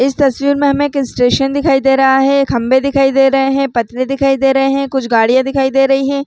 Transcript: इस तस्वीर में हमे एक स्टेशन दिखाई दे रहा है खंम्बे दिखाई दे रहे है पटरी दिखाई दे रहे है कुछ गाड़िया दिखाई दे रही है।